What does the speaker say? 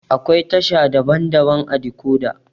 Akwai tasha daban-daban ã decoda.